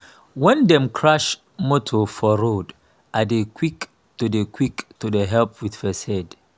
when dem crash motor for road i dey quick to dey quick to help with first aid.